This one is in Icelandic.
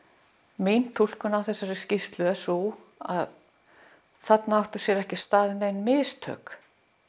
mín túlkun á þessari skýrslu er sú að þarna áttu sér ekki stað nein mistök